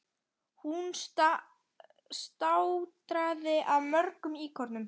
Hún státaði af mörgum íkonum.